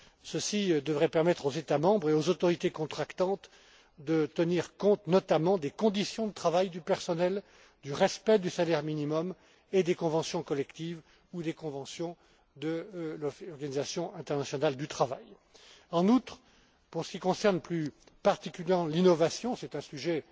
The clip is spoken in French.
Ceci devrait permettre aux États membres et aux autorités contractantes de tenir compte, notamment, des conditions de travail du personnel, du respect du salaire minimum, des conventions collectives et des conventions de l'Organisation internationale du travail. En outre, pour ce qui concerne plus particulièrement l'innovation c'est